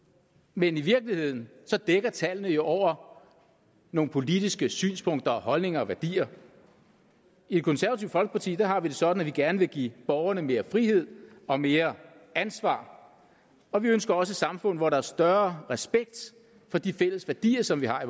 men i virkeligheden dækker tallene jo over nogle politiske synspunkter og holdninger og værdier i det konservative folkeparti har vi det sådan at vi gerne vil give borgerne mere frihed og mere ansvar og vi ønsker også et samfund hvor der er større respekt for de fælles værdier som vi har i